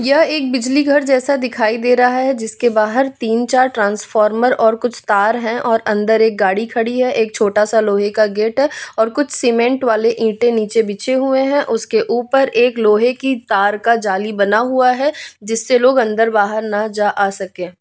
यह एक बिजली घर जैसा दिखाई दे रहा है जिसके बाहर तीन-चार ट्रांसफॉर्मर और कुछ तार हैं और अंदर एक गाड़ी खड़ी है एक छोटा सा लोहे का गेट और कुछ सीमेंट वाले ईंटे नीचे बिछे हुए हैं उसके ऊपर एक लोहे की तार का जाली बना हुआ है जिससे लोग अंदर बाहर न जा आ सके।